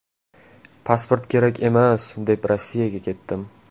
Pasport kerak emas, deb Rossiyaga ketdim.